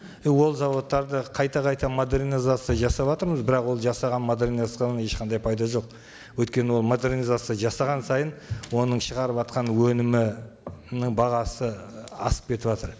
і ол зауыттарды қайта қайта модернизация жасаватырмыз бірақ ол жасаған модернизациядан ешқандай пайда жоқ өйткені ол модернизация жасаған сайын оның шығарыватқан өнімінің бағасы ы асып кетіватыр